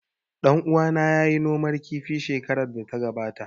Ɗan uwana ya yi noman kifi shekarar da ta gabata